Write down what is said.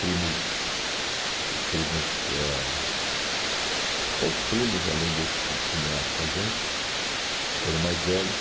primos, os primos ãh, outros primos além desses que tinham morado com a gente, que eram mais velhos.